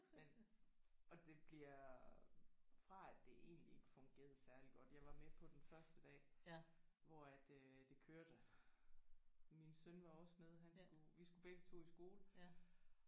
Men og det bliver fra at det egentlig ikke fungerede særlig godt jeg var med på den første dag hvor at øh det kørte min søn var også med han skulle vi skulle begge 2 i skole